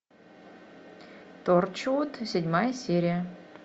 торчвуд седьмая серия